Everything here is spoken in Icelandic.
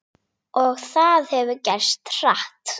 Og það hefur gerst hratt.